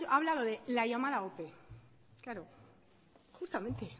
ha hablado de la llamada ope claro justamente